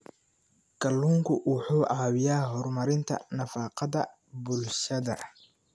Kalluunku wuxuu caawiyaa horumarinta nafaqada bulshada.